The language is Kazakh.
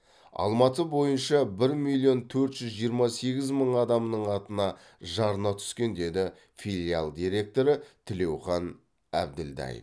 алматы бойынша бір миллион төрт жүз жиырма сегіз мың адамның атына жарна түскен деді филиал директоры тілеухан әбілдаев